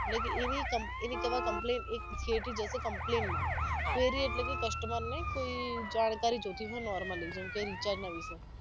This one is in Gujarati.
એટલે કે એની એની તમે complain એક જશે complain માં theory એટલે કે customer ને કોઈ જાણકારી જોતી હોય normally જેમ કે recharge ના વિશે